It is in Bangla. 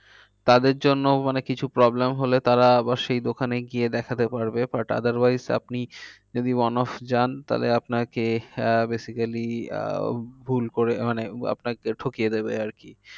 তাদের জন্য মানে কিছু problem হলে তারা আবার সেই দোকানে গিয়ে দেখাতে পারবে। but otherwise আপনি যদি one of যান তাহলে আপনাকে আহ basically আহ ভুল করে মানে আপনাকে ঠকিয়ে দেবে আর কি।